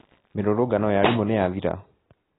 Mĩrũrũngano ya arimũ nĩyathira?